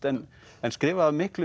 en en skrifað af miklum